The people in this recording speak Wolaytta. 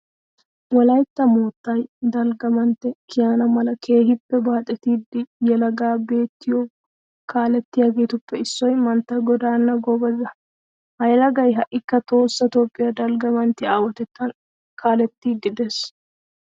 Wolaytta moottay dalgga mantte kiyana mala keehippe baaxetida yelaga biittiyo kaalettiyageetuppe issoy mantta godaanna goobeza. Ha yelagay ha"ikka tohossa toophphiya dalgga manttiya aawatettan kaalettiiddi de'ees.